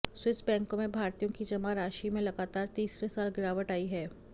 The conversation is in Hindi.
स्विस बैंकों में भारतीयों की जमा राशि में लगातार तीसरे साल गिरावट आई है